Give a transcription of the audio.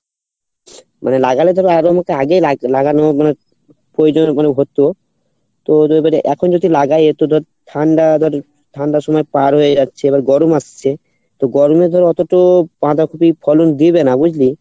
মানে লাগালে তো ঠান্ডার সময় পার হয়ে যাচ্ছে এবার গরম আসছে তো গরমে ধর অতো তো বাঁধাকপি ফলন দিবে না বুঝলি?